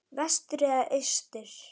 Vestur eða austur?